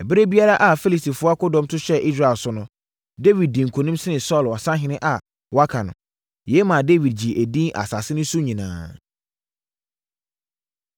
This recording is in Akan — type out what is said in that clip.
Ɛberɛ biara a Filistifoɔ akodɔm to hyɛɛ Israel so no, Dawid dii nkonim sene Saulo asahene a wɔaka no. Yei maa Dawid gyee edin asase no so nyinaa.